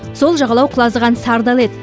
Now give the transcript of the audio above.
сол жағалау құлазыған сары дала еді